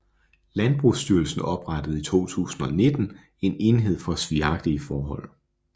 Landbrugsstyrelsen oprettede i 2019 en enhed for svigagtige forhold